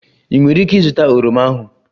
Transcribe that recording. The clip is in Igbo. Ị nwere ike ịzụta oroma ahu?